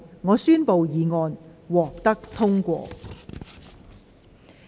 我宣布議案獲得通過。